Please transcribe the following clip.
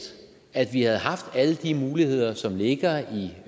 at vi havde haft alle de muligheder som ligger i